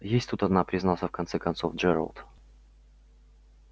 есть тут одна признался в конце концов джералд